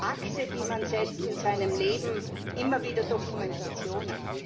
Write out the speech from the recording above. Akte, die man setzt in seinem Leben, immer wieder Dokumentationen.